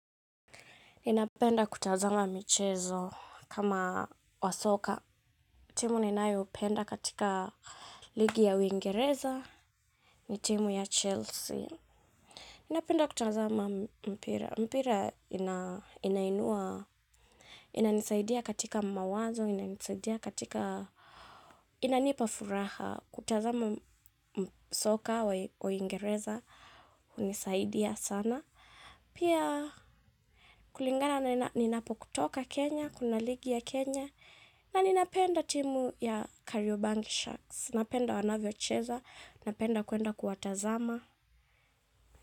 Inapenda kutazama michezo kama wa soka. Timu ninayopenda katika ligi ya Uingereza ni timu ya Chelsea. Inapenda kutazama mpira. Mpira inainua, inanisaidia katika mawazo, inanisaidia katika, inanipa furaha. Kutazama soka, wa Uingereza, unisaidia sana. Pia kulingana na ninapokutoka Kenya, kuna ligi ya Kenya. Na ninapenda timu ya Kariobangi Sharks. Napenda wanavyocheza, napenda kuenda kuwatazama.